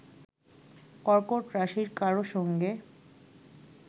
কর্কট রাশির কারও সঙ্গে